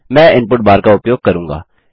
मैं input bar का उपयोग करूंगा